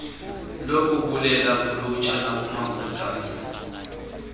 lokubulela kulutsha nakumakhosikazi